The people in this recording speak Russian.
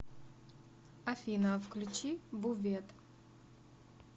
афина включи бувет